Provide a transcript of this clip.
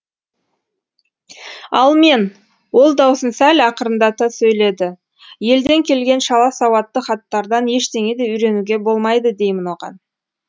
ал мен ол даусын сәл ақырындата сөйледі елден келген шала сауатты хаттардан ештеңе де үйренуге болмайды деймін оған